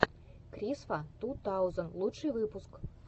крисфа ту таузен лучший выпуск